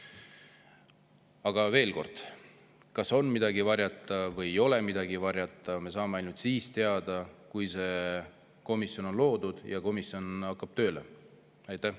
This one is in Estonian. Aga veel kord: selle, kas on midagi varjata või ei ole midagi varjata, me saame ainult siis teada, kui see komisjon on loodud ja ta tööle hakkab.